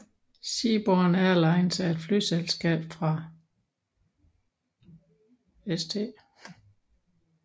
Seaborne Airlines er et flyselskab fra St